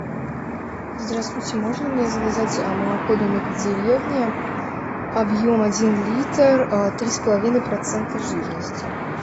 здравствуйте можно мне заказать молоко домик в деревне объем один литр три с половиной процента жирности